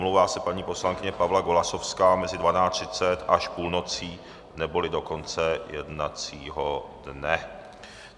Omlouvá se paní poslankyně Pavla Golasowská mez 12.30 až půlnocí neboli do konce jednacího dne.